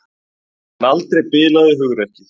En aldrei bilaði hugrekkið.